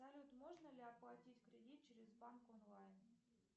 салют можно ли оплатить кредит через банк онлайн